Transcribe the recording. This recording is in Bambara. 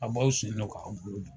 A b'aw sen don k'anw bolo don.